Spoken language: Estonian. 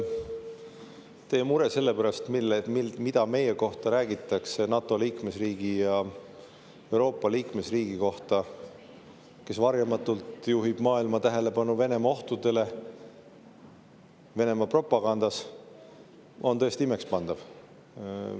Teie mure selle pärast, mida räägitakse meie kohta, NATO liikmesriigi ja Euroopa liikmesriigi kohta, kes varjamatult juhib maailma tähelepanu Venemaa ohtudele, Venemaa propagandale, on tõesti imekspandav.